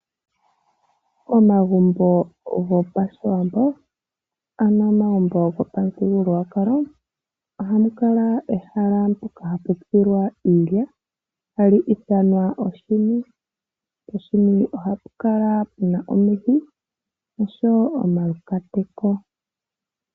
Momagumbo gopashiwambo nenge gopamuthigululwakalo ohamu kala ehala mpoka hapu tsilwa iilya hali ithanwa oshini. Poshini ohapu kala pu na oshini oshoyo omaluhwati.